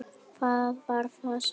Hvað var það? sagði hún.